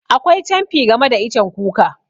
Akwai camfi game da icen kuka.